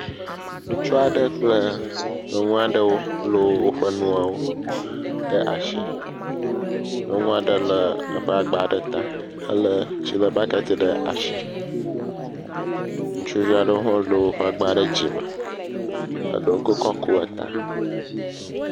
Ŋutsu aɖe kple nyɔnu aɖe wole woƒe nuwo ɖe asi. Nyɔnua ɖe le eƒe agba ɖe ta hele tsilebɔkiti ɖe asi. Ŋutsuvi aɖewo le woƒe agba ɖe dzime. Eɖewo kpe kɔ ku eta.